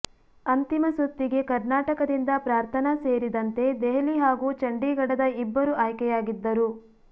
ಅಂತಿಮ ಸುತ್ತಿಗೆ ಕರ್ನಾಟಕದಿಂದ ಪ್ರಾರ್ಥನಾ ಸೇರಿದಂತೆ ದೆಹಲಿ ಹಾಗೂ ಚಂಡೀಗಡದ ಇಬ್ಬರು ಆಯ್ಕೆಯಾಗಿದ್ದರು